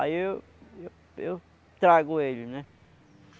Aí eu eu eu trago ele, né?